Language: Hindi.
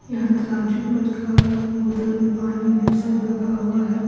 यहां तराजू पटखाड़ा बोतल में पानी सब रखा हुआ है।